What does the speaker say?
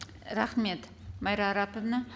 рахмет майра араповна